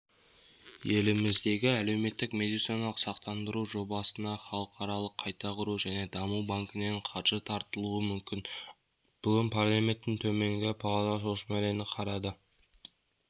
еліміздегі әлеуметтік медициналық сақтандыру жобасына халықаралық қайта құру және даму банкінен қаржы тартылуы мүмкін бүгін парламенттің төменгі палатасы осы мәселені қарады